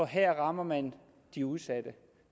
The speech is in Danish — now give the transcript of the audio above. her rammer man de udsatte